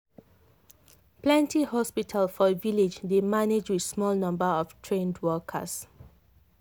plenty hospital for village dey manage with small number of trained workers.